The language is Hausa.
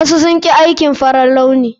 Wasu sun ƙi aikin farar launi.